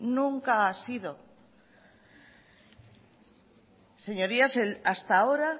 nunca ha sido señorías hasta ahora